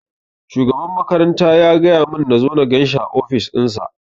Shugaban makaranta ya gaya mun nazo na ganshi a ofis nasa